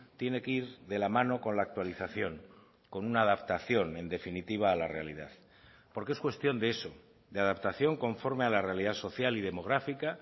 tiene que ir de la mano con la actualización con una adaptación en definitiva a la realidad porque es cuestión de eso de adaptación conforme a la realidad social y demográfica